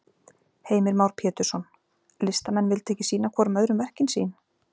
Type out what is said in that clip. Heimir Már Pétursson: Listamenn vildu ekki sýna hvorum öðrum verkin sín?